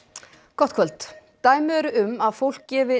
gott kvöld dæmi eru um að fólk gefi